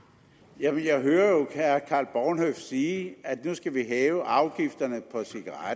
jeg hører jo herre karl bornhøft sige at nu skal vi hæve afgifterne